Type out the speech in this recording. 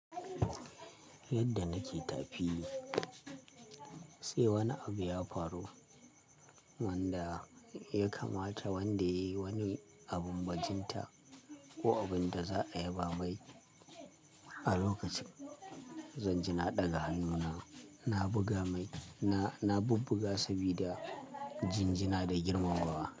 Yadda nake tafi sai wani abu ya faru wanda ya kamata wanda yayi wani abun bajinta ko abun da za a yaba mai. A lokacin zan jinaɗa ga hannuna na buga mai, na bubbuga sabida jinjina da girmamawa.